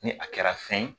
Ni a kɛra fɛn ye